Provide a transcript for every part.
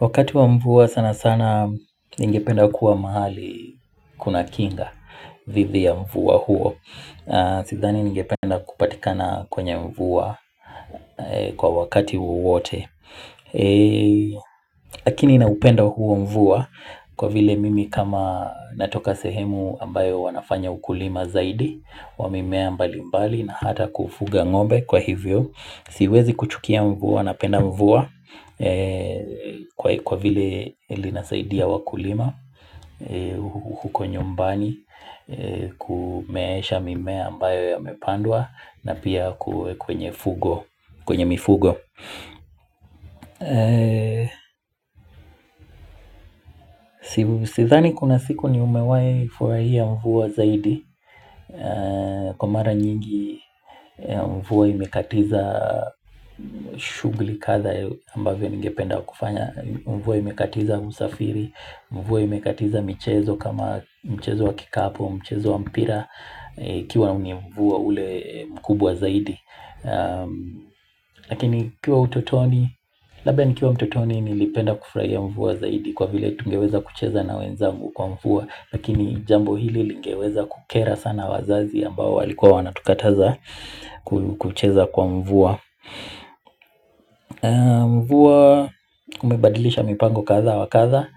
Wakati wa mvua sana sana ningependa kuwa mahali kuna kinga dhidi ya mvua huo Sidhani ningependa kupatikana kwenye mvua kwa wakati wowote Lakini na upenda huo mvua kwa vile mimi kama natoka sehemu ambayo wanafanya ukulima zaidi Wamimea mbali mbali na hata kufuga ng'ombe kwa hivyo Siwezi kuchukia mvua na penda mvua kwa vile linasaidia wakulima huko nyumbani, kumeesha mimea ambayo yamepandwa na pia kwenye mifugo Sidhani kuna siku nimewahi furahia mvua zaidi Kwa mara nyingi mvua imekatiza shughuli kadha ambavy ningependa kufanya Mvua imekatiza usafiri, mvua imekatiza mchezo kama mchezo wa kikapu, mchezo wa mpira iKiwa ni mvua ule mkubwa zaidi Lakini nikiwa utotoni, labda nikiwa utotoni nilipenda kufurahia mvua zaidi Kwa vile tungeweza kucheza na wenzangu kwa mvua Lakini jambo hili lingeweza kukera sana wazazi ambao walikua wanatukataza kucheza kwa mvua Mvua umebadilisha mipango kadha wa kadha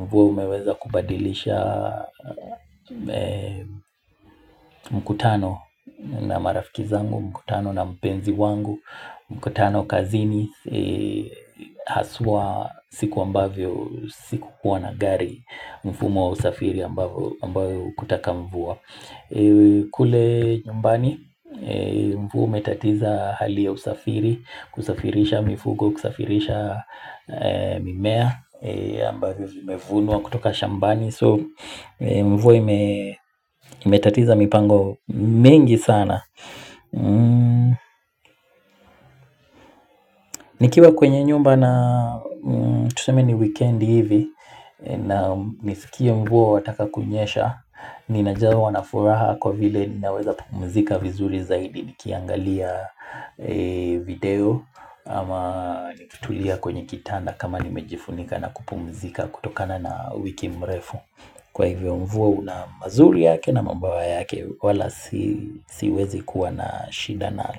Mvua umeweza kubadilisha mkutano na marafiki zangu, mkutano na mpenzi wangu mkutano kazini haswa siku ambavyo sikukuwa na gari mfumo wa usafiri ambayo kutaka mvua kule nyumbani mvua umetatiza hali ya usafiri kusafirisha mifugo, kusafirisha mimea ambavyo vimevunwa kutoka shambani So mvua imetatiza mipango mengi sana Nikiwa kwenye nyumba na tuseme ni wikendi hivi na nisikie mvua wataka kunyesha Ninajawa nafuraha kwa vile ninaweza pumzika vizuri zaidi nikiangalia video ama nikitulia kwenye kitanda kama nimejifunika na kupumzika kutokana na wiki mrefu kwa hivyo mvua na umazuri yake na mambawa yake wala siwezi kuwa na shida nalo.